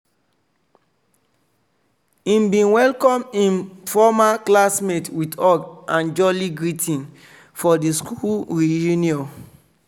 he bin welcome hin former classmates with hug and jooly greeting for di school reunion.